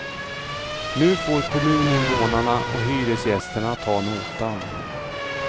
Nu får kommuninvånarna och hyresgästerna ta notan.